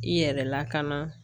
I yɛrɛ lakana